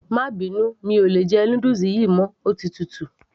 má bínú, mi ò lè jẹ noodles yìí mọ́, ó ti tutù